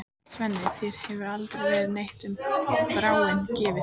Svenni, þér hefur aldrei verið neitt um Þráin gefið.